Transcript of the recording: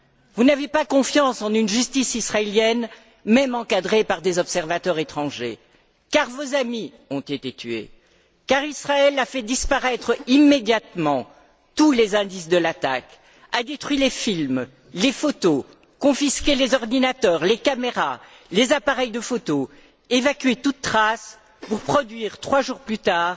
Vous n'avez pas confiance en une justice israélienne, même encadrée par des observateurs étrangers, car vos amis ont été tués, car Israël a fait disparaître immédiatement tous les indices de l'attaque, a détruit les films, les photos, confisqué les ordinateurs, les caméras, les appareils de photos, évacué toute trace pour produire, trois jours plus tard,